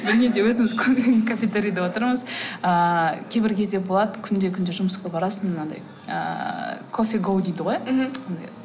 неде өзіміз кафетерийде отырмыз ыыы кейбір кезде болады күнде күнде жұмысқа барасың мынандай ыыы кофегоу дейді ғой мхм